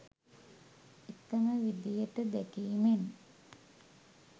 එකම විදිහට දැකීමෙන්